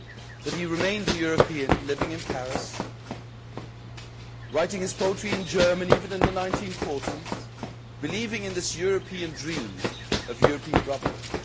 But he remained a European, living in Paris, writing his poetry in German even in the 1940s, and believing in this European dream of European brotherhood.